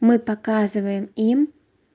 мы показываем им